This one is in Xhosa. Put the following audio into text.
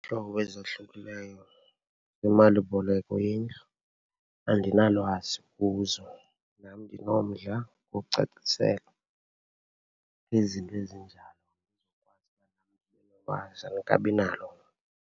ezohlukileyo zemalimboleko yendlu, andinalwazi kuzo. Nam ndinomdla wokucaciselwa izinto ezinjalo ndizokwazi uba nam ndibe nolwazi, andikabinalo.